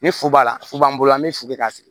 Ni fu b'a la furu b'an bolo an be fili k'a sigi